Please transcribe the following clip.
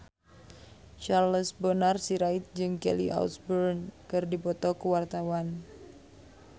Charles Bonar Sirait jeung Kelly Osbourne keur dipoto ku wartawan